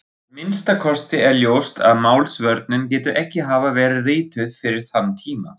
Að minnsta kosti er ljóst að Málsvörnin getur ekki hafa verið rituð fyrir þann tíma.